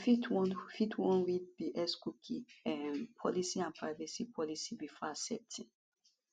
you fit wan fit wan read di xcookie um policyandprivacy policybefore accepting